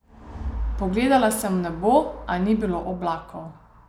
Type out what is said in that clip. Pogledala sem v nebo, a ni bilo oblakov.